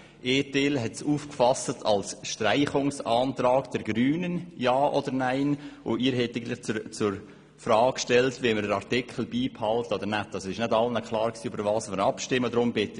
Einige fassten den Antrag als Streichungsantrag der Grünen auf, und Sie stellten eigentlich die Frage, ob wir den bestehenden Artikel beibehalten wollen oder nicht.